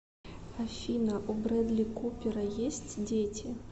афина у брэдли купера есть дети